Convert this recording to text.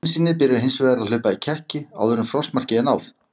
Bensínið byrjar hins vegar að hlaupa í kekki áður en frostmarki er náð.